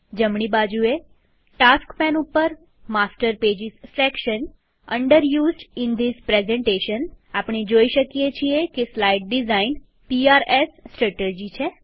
જમણી બાજુએટાસ્ક પેન ઉપરમાસ્ટર pages section under used in these પ્રેઝન્ટેશનઆપણે જોઈ શકીએ છીએ કે સ્લાઈડ ડીઝાઈન પીઆરએસ સ્ત્રેટર્જી છે